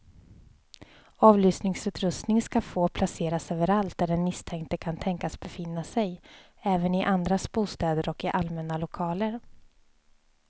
Avlyssningsutrustning ska få placeras överallt där den misstänkte kan tänkas befinna sig, även i andras bostäder och i allmänna lokaler.